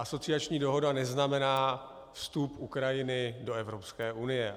Asociační dohoda neznamená vstup Ukrajiny do Evropské unie.